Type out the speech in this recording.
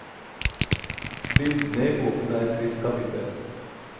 Bildene i boken er et trist kapittel.